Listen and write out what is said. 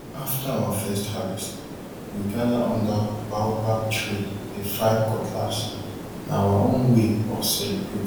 after our first harvest we gather under baobab tree dey file cutlassna our own way of celebrate